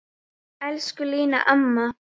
Elsku Lína amma.